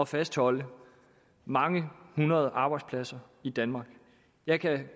fastholde mange hundrede arbejdspladser i danmark jeg kan